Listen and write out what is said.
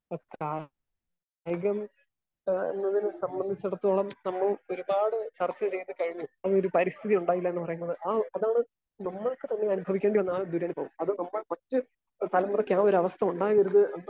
Speaker 1 അപ്പൊ കായികം ഇതിനെ സംബന്ധിച്ചുടത്തോളം നമ്മൾ ഒരുപാട് ചർച്ച ചെയ്തു കഴിഞ്ഞു. അതിനൊരു പരിസ്ഥിതി ഉണ്ടായില്ലാന്ന് പറയുന്നത് ആ അതൊരു നമ്മൾക്ക് തന്നെ അനുസരിക്കേണ്ടി വന്നാൽ ദുരനുഭവം അതിൽ നമ്മൾ മറ്റ് കേവലം ഒരു അവസ്ഥ ഉണ്ടായെങ്കിൽ